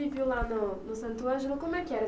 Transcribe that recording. lá no no Santo Ângelo, como é que era?